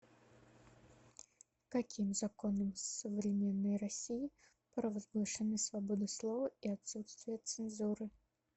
каким законом в современной россии провозглашены свобода слова и отсутствие цензуры